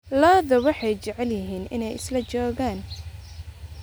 Idaha waxay jecel yihiin inay isla joogaan.